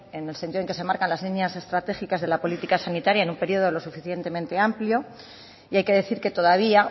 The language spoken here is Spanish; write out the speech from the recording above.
en el sentido en que se marcan las líneas de estratégicas de la política sanitaria en un periodo lo suficientemente amplio y hay que decir que todavía